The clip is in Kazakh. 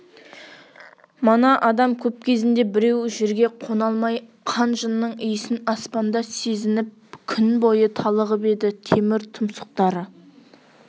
мана адам көп кезінде біреуі жерге қона алмай қан-жынның иісін аспанда сезініп күн бойы талығып еді темір тұмсықтары